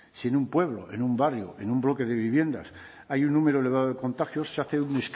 si en un pueblo en un barrio en un bloque de viviendas hay un número elevado de contagios se hace un